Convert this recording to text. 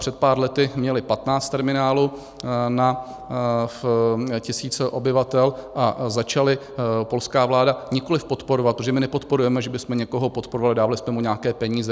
Před pár lety měli 15 terminálů na tisíc obyvatel a začala polská vláda - nikoliv podporovat, protože my nepodporujeme, že bychom někoho podporovali, dávali jsme mu nějaké peníze.